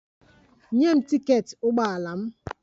Nye m tiketi ụgbọ ala m!